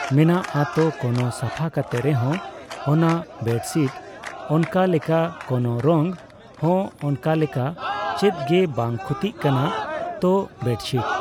ᱢᱚᱱᱟᱜᱼᱟ᱾ ᱛᱚ ᱠᱳᱱᱳ ᱥᱟᱯᱷᱟ ᱠᱟᱛᱮ ᱨᱮᱦᱚᱸ ᱚᱱᱟ ᱵᱮᱰᱥᱤᱴ ᱚᱱᱠᱟᱞᱮᱠᱟ ᱠᱳᱱᱳ ᱨᱚᱝ ᱦᱚᱸ ᱚᱱᱠᱟᱞᱮᱠᱟ ᱪᱮᱫ ᱜᱮ ᱵᱟᱝ ᱠᱷᱚᱛᱤᱜ ᱠᱟᱱᱟ᱾ ᱛᱚ ᱵᱮᱰᱪᱷᱤᱴ